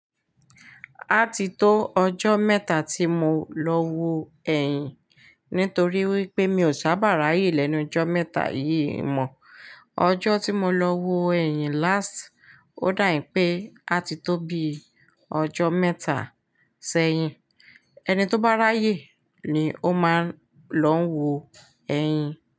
Á ti tó ọjọ́ mẹ́ta tí mo lọ wo ẹ̀yìn nítorí wípé mi ò sábà ráyè lẹ́nu jọ mẹ́ta yìí mọ́, ọjọ́ tí mo lọ wo ẹ̀yìn last ó dàbí pé á ti tó bí ọjọ́ mẹ́ta ṣẹ́yìn. Ẹni tó bá ráyè ni ó máa ń lọ ń wo ẹyin.